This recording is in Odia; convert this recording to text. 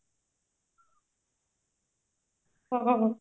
ହଁ